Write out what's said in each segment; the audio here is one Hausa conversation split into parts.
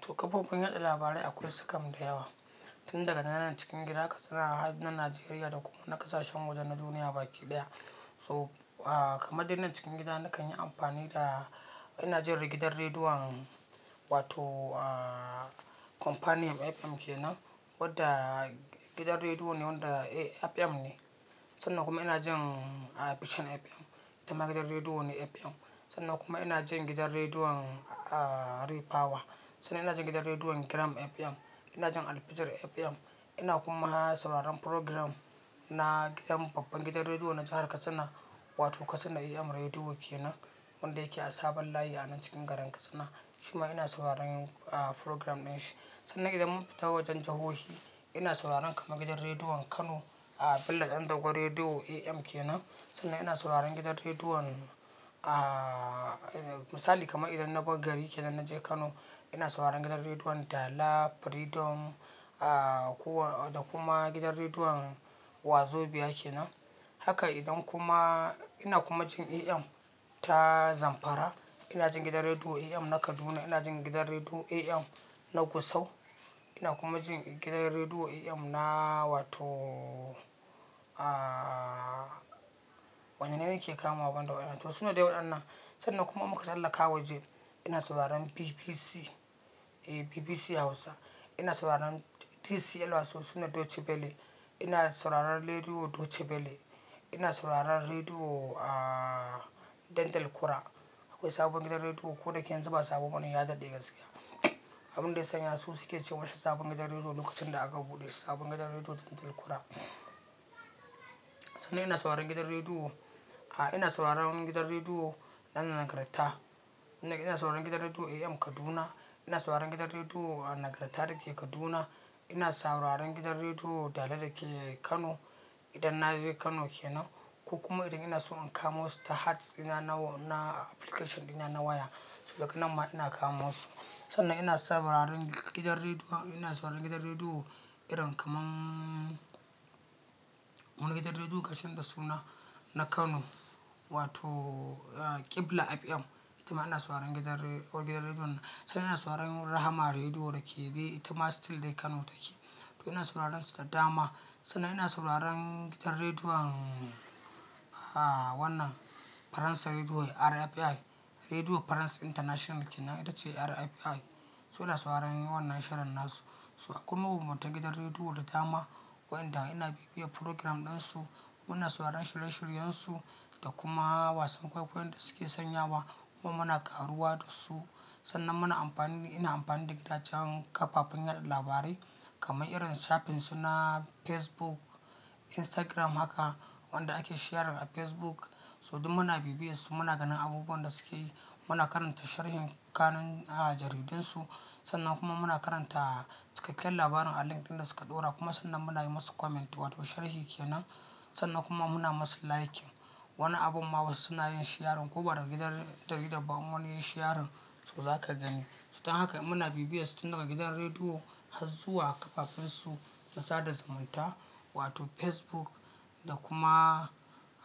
To kafofin yada labarai akwai su kam da yawa, tun daga na nan cikin gida Katsina har nan Najeriya da kuma na kasashen wajen na duniya baki ɗaya. To, ah, kamar dinnan cikin gida nakan yi amfani da, ina jin gidan rediyon wato, ah, Companion FM kenan wadda gidan rediyo ne wanda FM ne. Sannan kuma ina jin vision FM ita ma na rediyo FM. Sannan kuma ina jin gidan rediyon Ray Power. Sannan ina jin gidan rediyon Gram FM. Ina jin Albijir FM. Ina kuma sauraron program na gidan, babban gidan rediyo na jahar Katsina wato Katsina AM Radio kenan, wanda yake a sabon layi a nan cikin garin Katsina. Shima ina sauraron, ah, program dinshi. Sannan idan mun fita wajen jahohi, ina sauraron kamar gidan rediyon Kano, ah, Bello Dan Dogo Radio AM kenan. Sannan ina sauraron gidan rediyon, ah, misali kamar idan na bar gari kenan na je Kano ina sauraron gidan rediyon Dala, Freedom, ah, kuwa da kuma gidan rediyon Wazobia kenan. Haka idan kuma, ina kuma jin AM ta Zamfara. Ina jin gidan rediyo AM na Kaduna. Ina jin gidan rediyo AM na Gusau. Ina kuma jin gidan rediyo AM na wato, ah, wanne ne nake kamawa banda wannan? To suna da wayannan. Sannan kuma muka sallaka waje ina sauraron BBC, eh, BBC Hausa. Ina sauraron TCL wato suna Deutsche Welle. Ina sauraron rediyo Deutsche Welle. Ina sauraron rediyo, ah, Dan talKura. Sabo gidan rediyo ko dake yanzu ba sabo bane ya dade gaskiya abun da ya sanya su suka ce ma shi sabuwan gidan rediyo lokacin da aka bude sabon gidan rediyo Dan Talkura. Sannan ina sauraron gidan rediyo, ah, ina sauraron gidan rediyo na Nagarta. Ina, ina sauraron gidan rediyo AM Kaduna. Ina sauraron gidan rediyo Nagarta da ke Kaduna. Ina sauraron gidan rediyo Dala da ke Kano idan na je Kano kenan. Ko kuma idan ina so in kamo su ta hats ina na, na application dina na waya. To daga nan ma ina kamo su. Sannan ina sauraron gidan rediyo, ina sauraron gidan rediyo irin kaman wani gidan rediyo ƙarshen da suna na Kano wato Qibla FM. Ita ma ina sauraron gidan re ko gidan rediyo nan. Sannan ina sauraron Rahama Rediyo da ke dai ita ma still dai Kano take. To ina sauraron su da dama. Sannan ina sauraron gidan rediyon, ah, wannan Faransa Rediyo RFI. Rediyo france international kenan ita ce RFI. So ina sauraron wannan shirin nasu. So akwai mabanbantan gidan rediyo da dama wayanda ina bibiya program din su. Muna sauraron shirye-shiryensu da kuma wasan kwaikwayon da suke sanya wa kuma muna karuwa da su. Sannan muna amfani, ina amfani da gidajen kafafen yada labarai kamar irin shafin su na Facebook, Instagram haka wanda ake share a Facebook. So duk muna bibiye su muna ganin abubuwan da suke yi. Muna karanta sharhin kanun, ah, jaridun su. Sannan kuma muna karanta cikakken labarin a link ɗin da suka ɗora kuma sannan muna yi musu comment wato sharhi kenan. Sannan kuma muna masu liking. Wani abun ma wasu suna yin sharing ko ba da gidan jarida ba in wani yayi sharing so zaka gani. So dan haka in muna bibiye su tun daga gidan rediyo har zuwa kafafen su na sada zumunta wato Facebook da kuma,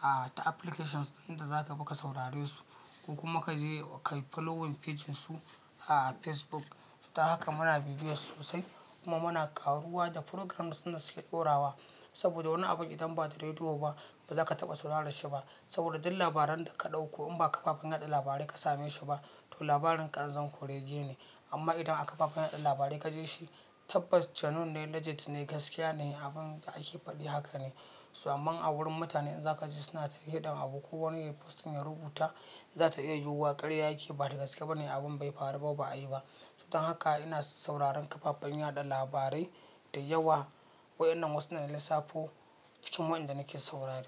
ah, ta applications ɗin da zaka bi ka saurare su. Ko kuma ka je ka yi following page din su a Facebook. Ta haka muna bibiye su sosai kuma muna karuwa da programs din da suke ɗorawa. Saboda wani abun idan ba da rediyo ba ba za ka taɓa saurare shi ba. Saboda duk labaran da ka ɗauko in ba kafafen yada labarai ka same shi ba to labarin kazan kurege ne. Amma idan a kafafen yada labarai ka ji shi tabbas genuine ne, legit ne, gaskiya ne, abin da ake faɗi haka ne. So aman a wurin mutane in za ka ji suna ta hidan abu ko wani yayi posting ya rubuta za ta iya yiwuwa karya yake ba da gaske ba ne abin bai faru ba a yi ba. So dan haka ina sauraron kafafen yada labarai da yawa wayannan wasu ne na lissafo cikin waɗanda nake saurare.